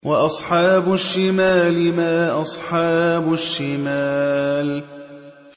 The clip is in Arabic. وَأَصْحَابُ الشِّمَالِ مَا أَصْحَابُ الشِّمَالِ